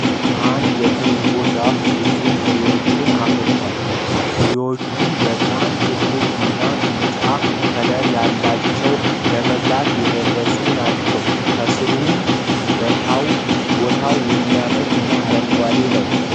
አንድ የትርንጎ ዛፍ ብዙ ፋሬወችን አፋረቷል ። ፍሬወቹም በጣም ትላልቅ እና ቢጫ ከለር የላቸው ለመበላት የደረሱ ናቸው ። ከስሩም በታው የሚያምር እና አረንጓዴማ ነው።